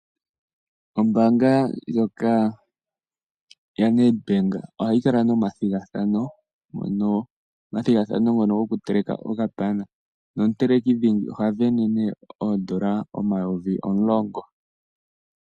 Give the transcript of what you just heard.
Ombaanga ndjoka yaNedbank ohayi kala no mathigathano, omathigathano ngono goku teleka okapana. Nomuteleki dhingi oha vene nee oondola omayovi omulongo.